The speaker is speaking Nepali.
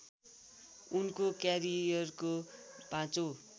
उनको क्यारियरको पाँचौँ